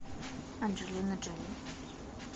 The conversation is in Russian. анджелина джоли